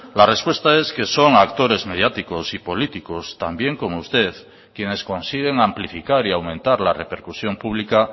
la respuesta es que son actores mediáticos y políticos también como usted quienes consiguen amplificar y aumentar la repercusión pública